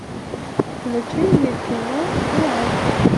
включи мне кино вуаль